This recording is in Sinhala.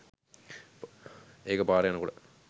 ඒක පාරෙ යනකොට